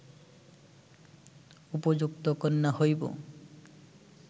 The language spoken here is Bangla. উপযুক্ত কন্যা হইব